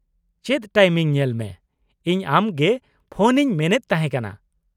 ᱪᱮᱫ ᱴᱟᱭᱤᱢᱤᱝ ᱧᱮᱞ ᱢᱮ , ᱤᱧ ᱟᱢ ᱜᱮ ᱯᱷᱚᱱ ᱤᱧ ᱢᱮᱱᱮᱫ ᱛᱟᱦᱮᱸ ᱠᱟᱱᱟ ᱾